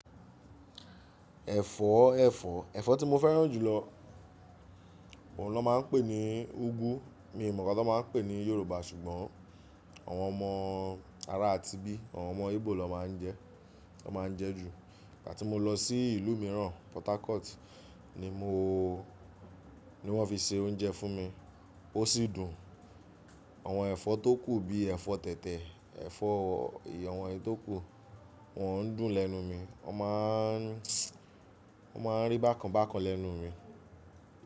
Ẹ̀fọ́, ẹ́fọ́, ẹ̀fọ́ tí mo fẹ́ràn jù lọ, wọn ló máa ń pè ní ugu, mi ò mọ̀ ká tó máa pè ní Yorùbá ṣùgbọ́n àwọn ọmọ ara àti ibí, àwọn ọmọ Igbo lọ máa ń jẹ, wọn máa ń jẹ ju. Ìgbà tí mo lọ sí ìlú mìíràn, Port Harcourt ni mo, ni wọ́n fi se oúnjẹ fún mi, ó sì dùn. Àwọn ẹ̀fọ́ tókù bí ẹ̀fọ́ tẹ̀tẹ̀, ẹ̀fọ́ ì, àwọn ètò kù, wọn ń dùn lẹ́nu mi. Wọ́n máa ń, wọ́n máa ń rí bákanbákan lẹ́nu mi.